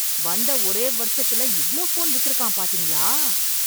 வந்த ஒரே வருஷத்துல இவ்ளோ போன் வித்திருக்கான் பாத்திங்களா!